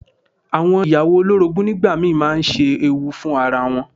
Àwọn ìyàwó olórogún nígbà mi máa ń ṣe ewu fún ara wọn.